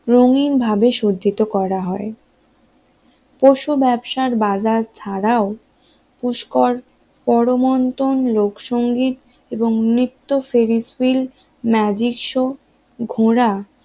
রঙিনভাবে সজ্জিত করা হয়, পশু ব্যবসার বাজার ছাড়াও পুষ্কর পরমন্তন লোকসংগীত এবং নৃত্য ফেরিস হুইল ম্যাজিক শো ঘোড়া